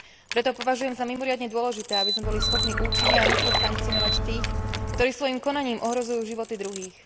Preto považujem za mimoriadne dôležité, aby sme boli schopní účinne a rýchlo sankcionovať tých, ktorí svojim konaním ohrozujú životy druhých.